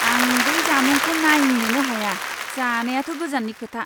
आं बै जामुंखौ नायनोनो हाया, जानायाथ' गोजाननि खोथा!